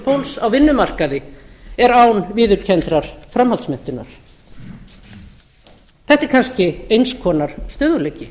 fólks á vinnumarkaði er án viðurkenndrar framhaldsmenntunar þetta er kannski eins konar stöðugleiki